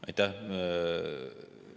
Aitäh!